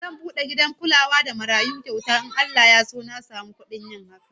Zan bude gidan kulawa da marayu kyauta in Allah Ya so na samu budin yin haka